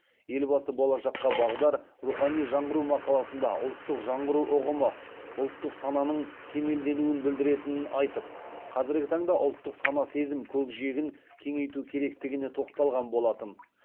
елбасы болашаққа бағдар рухани жаңғыру мақаласында ұлттық жаңғыру ұғымы ұлттық сананың кемелденуін білдіретінін айтып қазіргі таңда ұлттық сана сезім көкжиегін кеңейту керектігіне тоқталған болатын